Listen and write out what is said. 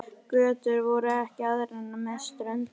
Götur voru ekki aðrar en með ströndinni.